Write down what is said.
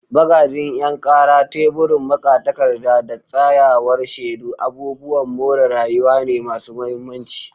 Bagadin 'yan kara, teburin magatakarda, da tsayawar shedu abubuwan more rayuwa ne masu mahimmanci.